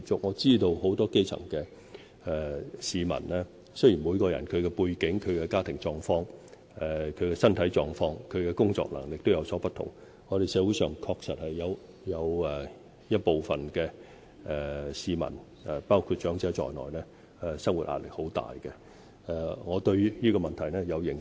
我知道很多基層市民，雖然每個人的背景、家庭狀況、身體狀況和工作能力各有不同，但我們社會上確實有一部分市民要面對很大的生活壓力，我對這個問題有認識。